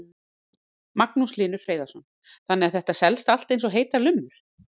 Magnús Hlynur Hreiðarsson: Þannig að þetta selst allt eins og heitar lummur?